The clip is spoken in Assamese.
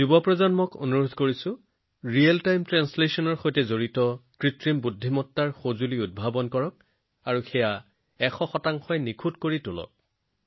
আজিৰ যুৱ প্ৰজন্মক অনুৰোধ কৰিম যে সঠিক সময়ৰ অনুবাদৰ সৈতে জড়িত এআই সঁজুলিসমূহ অধিক অন্বেষণ কৰক আৰু ইয়াক ১০০ সম্পূৰ্ণ প্ৰমাণ কৰক